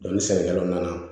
ni sɛnɛkɛlaw nana